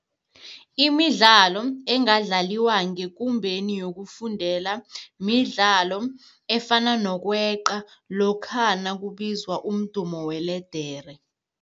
Imidlalo engadlaliwa ngekumbeni yokufundela midlalo efana nokweqa lokha nakubizwa umdumo weledere.